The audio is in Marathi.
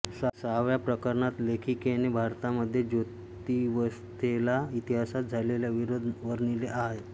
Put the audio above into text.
सहाव्या प्रकरणात लेखिकेने भारतामध्ये जातिव्यवस्थेला इतिहासात झालेले विरोध वर्णिले आहेत